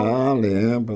Ah, lembro.